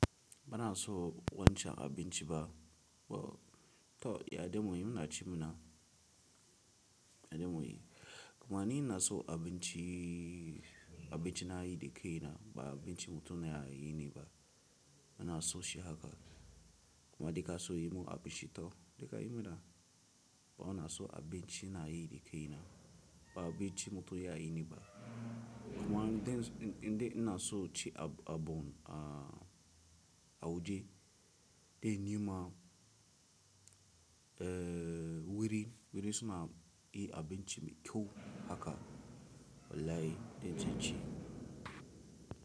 Bana so wancan abinci ba. To ya dame mu, muna ci mu na, ya dame mu yi. Kuma ni ina so abinci, abinci na yi da kai na ba abinci mutane ya yi ne ba. Bana so shi haka. Kuma duk kaso yi mun abinci to, to kayi min da. Ba na so abinci na yi da kai na ba abinci mutane ya yi ne ba. Kuma dan, inde na so ci abon, a waje dai ni ma, eh wuri, wurin suna yi abinci mai kyau haka, wallahi dai zan ci.